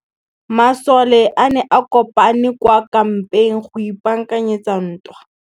Masole a ne a kopane kwa kampeng go ipaakanyetsa ntwa.